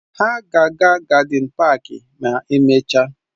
Ha ga-aga na gádịn páák ma emechaa